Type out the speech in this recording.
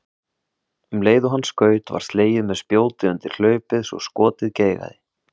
Um leið og hann skaut var slegið með spjóti undir hlaupið svo skotið geigaði.